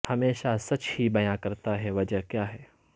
ہمیشہ سچ ہی بیاں کرتا ہے وجہ کیا ہے